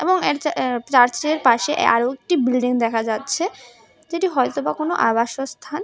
এবং এক জা অ্যা চার্চের পাশে আরও একটি বিল্ডিং দেখা যাচ্ছে যেটি হয়তো বা কোনো আবাস স্থান।